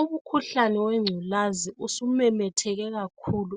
Umkhuhlane wengculazi usumemetheke kakhulu